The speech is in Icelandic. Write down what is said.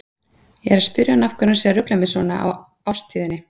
Ég er að spyrja hann af hverju hann sé að rugla mig svona í árstíðinni.